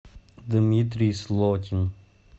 дмитрий слотин